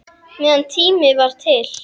Meðan tími var til.